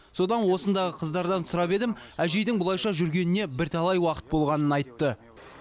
содан осындағы қыздардан сұрап едім әжейдің бұлайша жүргеніне бірталай уақыт болғанын айтты